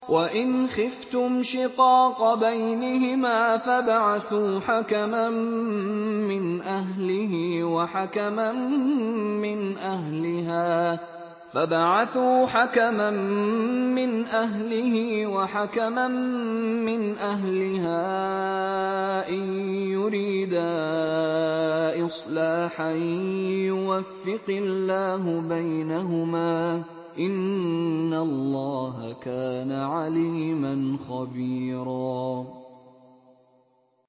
وَإِنْ خِفْتُمْ شِقَاقَ بَيْنِهِمَا فَابْعَثُوا حَكَمًا مِّنْ أَهْلِهِ وَحَكَمًا مِّنْ أَهْلِهَا إِن يُرِيدَا إِصْلَاحًا يُوَفِّقِ اللَّهُ بَيْنَهُمَا ۗ إِنَّ اللَّهَ كَانَ عَلِيمًا خَبِيرًا